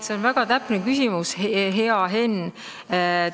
See on väga täpne küsimus, hea Henn!